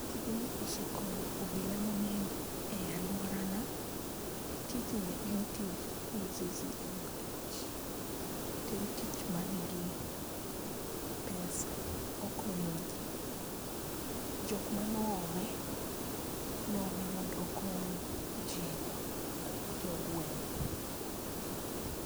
Tijni osekonyo obila mangeny e aluorawa. Tijni en tij nikech to en tich manigi pesa okonyo jii. Jokma ne oome noome mondo okony jii, jogweng